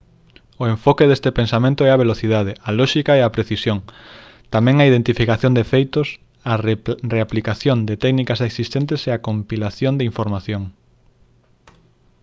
o enfoque deste pensamento é a velocidade a lóxica e a precisión tamén a identificación de feitos a reaplicación de técnicas existentes e a compilación de información